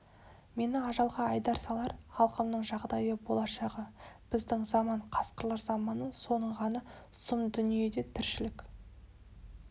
мені ажалға айдап салар халқымның жағдайы болашағы біздің заман қасқырлар заманы соның ғана сұм дүниеде тіршілік